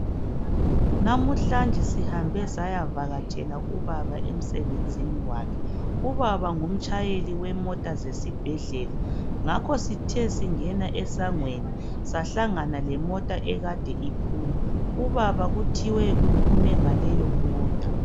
Namuhlanje sihambe saya vakatshela ubaba emsebenzini wakhe, ubaba ngumtshayeli wemota zesibhedlela ngakho sithe singena esangweni sahlangana lemota ekade iphuma. Ubaba kuthiwe uphume ngaleyo mota.